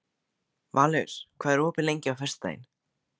Valur, hvað er opið lengi á föstudaginn?